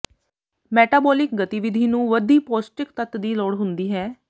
metabolic ਗਤੀਵਿਧੀ ਨੂੰ ਵਧੀ ਪੌਸ਼ਟਿਕ ਤੱਤ ਦੀ ਲੋੜ ਹੁੰਦੀ ਹੈ